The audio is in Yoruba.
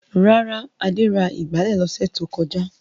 Rárá, Adé ra ìgbálẹ̀ lọ́sẹ̀ tó kọjá.